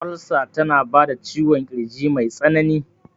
Olsa tana bada ciwon kirji mai tsanani